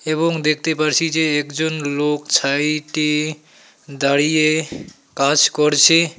এবং দেখতে পারছি যে একজন লোক ছাইটে দাঁড়িয়ে কাজ করছে।